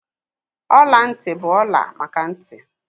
Ọla ntị bụ ọla maka ntị